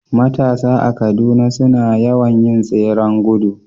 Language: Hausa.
Matasa a Kaduna suna yawan yin tseren gudu